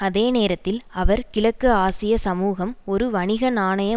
அதே நேரத்தில் அவர் கிழக்கு ஆசிய சமூகம் ஒரு வணிக நாணய